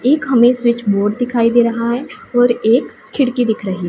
एक हमे switch board दिखाई दे रहा है और एक खिड़की दिख रही--